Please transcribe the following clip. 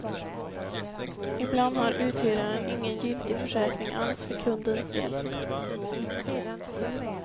Ibland har uthyraren ingen giltig försäkring alls för kundens del.